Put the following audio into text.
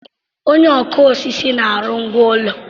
Onye ọkụ osisi na-arụ ngwá ụlọ.